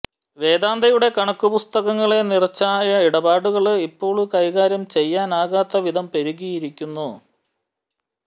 വേദാന്തയുടെ കണക്കുപുസ്തകങ്ങളെ നിറച്ച ആ ഇടപാടുകള് ഇപ്പോള് കൈകാര്യം ചെയ്യാനാകാത്ത വിധം പെരുകിയിരിക്കുന്നു